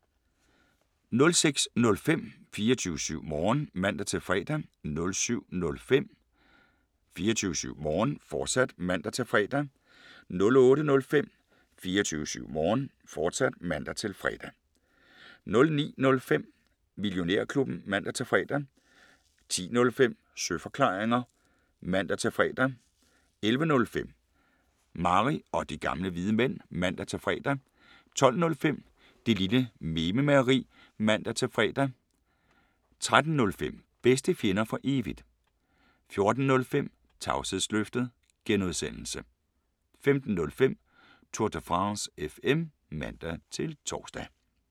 06:05: 24syv Morgen (man-fre) 07:05: 24syv Morgen, fortsat (man-fre) 08:05: 24syv Morgen, fortsat (man-fre) 09:05: Millionærklubben (man-fre) 10:05: Søeforklaringer (man-fre) 11:05: Mary og De Gamle Hvide Mænd (man-fre) 12:05: Det Lille Mememageri (man-fre) 13:05: Bedste Fjender For Evigt 14:05: Tavshedsløftet G) 15:05: Tour de France FM (man-tor)